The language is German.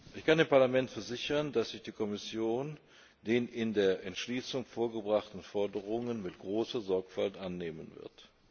Ich kann dem Parlament versichern, dass sich die Kommission den in der Entschließung vorgebrachten Forderungen mit großer Sorgfalt annehmen wird.